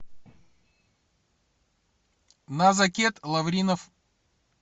назакет лавринов